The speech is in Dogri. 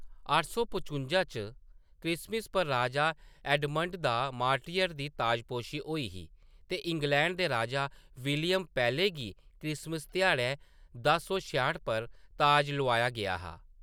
अट्ठ सौ पचुंजा च क्रिसमस पर राजा एडमंड द मार्टियर दी ताजपोशी होई ही ते इंग्लैंड दे राजा विलियम पैह्‌ले गी क्रिसमस ध्याड़ै दस सौ छेआट पर ताज लोआया गेआ हा।